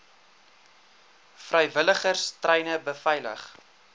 vrywilligers treine beveilig